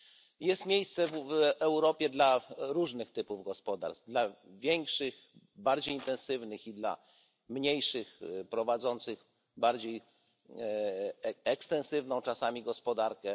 I jest miejsce w Europie dla różnych typów gospodarstw dla większych, bardziej intensywnych, i dla mniejszych, prowadzących bardziej ekstensywną czasami gospodarkę.